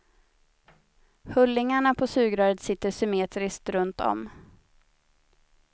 Hullingarna på sugröret sitter symmetriskt runt om.